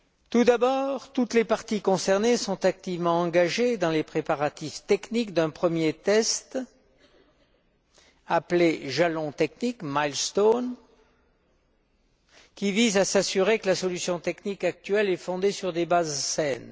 Tout d'abord, toutes les parties concernées sont activement engagées dans les préparatifs techniques d'un premier test appelé jalon technique milestone qui vise à s'assurer que la solution technique actuelle est fondée sur des bases saines.